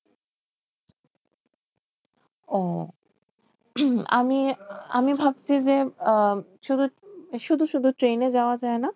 ও আমি আমি ভাবছি যে আহ শুধু শুধু ট্রেনে যাওয়া যায় না?